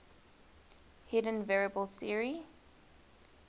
hidden variable theory